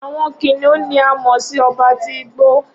Awọn kiniun ni a mọ si ọba ti igbo.